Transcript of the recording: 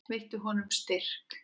Veittu honum styrk.